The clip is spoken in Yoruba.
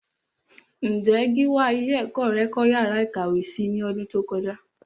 Ǹjé Gíwá ilé ẹ̀kọ́ rẹ kọ́ yàrá ìkàwé si ní ọdún tó kọjá?